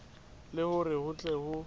le hore ho tle ho